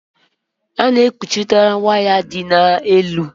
A na-ekpuchikarị waya ndị dị n'elu.